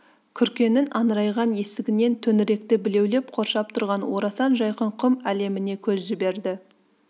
күркенің аңырайған есігінен төңіректі білеулеп қоршап тұрған орасан жайқын құм әлеміне көз жіберді